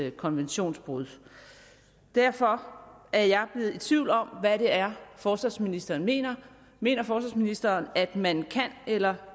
et konventionsbrud derfor er jeg blevet i tvivl om hvad det er forsvarsministeren mener mener forsvarsministeren at man kan eller